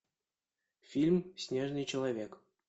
фильм снежный человек